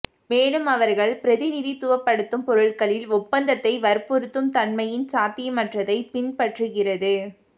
மேலும் அவர்கள் பிரதிநிதித்துவப்படுத்தும் பொருட்களில் ஒப்பந்தத்தை வற்புறுத்தும் தன்மையின் சாத்தியமற்றதை பின் பற்றுகிறது